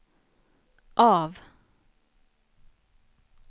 av